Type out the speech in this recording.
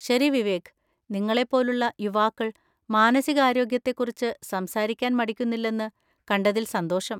ശരി വിവേക്, നിങ്ങളെപ്പോലുള്ള യുവാക്കൾ മാനസികാരോഗ്യത്തെക്കുറിച്ച് സംസാരിക്കാൻ മടിക്കുന്നില്ലെന്ന് കണ്ടതിൽ സന്തോഷം.